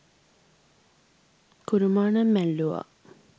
කුරුමානම් ඇල්ලූවා